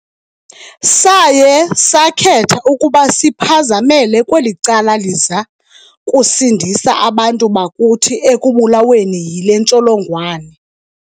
Saye sakhetha ukuba siphazamele kweli cala liza kusindisa abantu bakuthi ekubulaweni yile ntsholongwane.